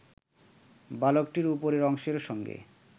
বালকটির উপরের অংশের সঙ্গে